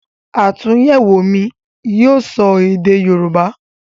àtúnyẹ̀wò mi yíò sọ èdè yorúbá.